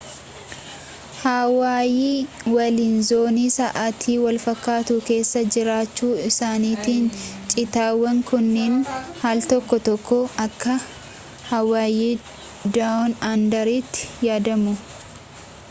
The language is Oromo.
hawaayii waliin zoonii sa'atii walfakkaatu keessaa jiraachuu isaaniitiin cittuuwwan kunniin aal tokko tokko akka hawaayii down under tti yaadamu